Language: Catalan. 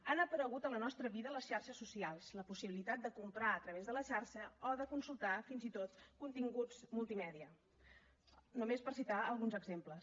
han aparegut a la nostra vida les xarxes socials la possibilitat de comprar a través de la xarxa o de consultar fins i tot continguts multimèdia només per citar ne alguns exemples